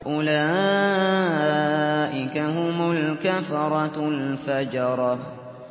أُولَٰئِكَ هُمُ الْكَفَرَةُ الْفَجَرَةُ